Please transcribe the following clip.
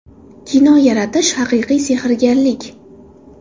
Kino yaratish haqiqiy sehrgarlik.